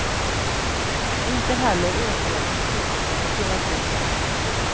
Inte heller övergår ambitionerna i pedagogisk nit.